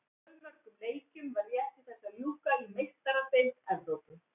Fjölmörgum leikjum var rétt í þessu að ljúka í Meistaradeild Evrópu.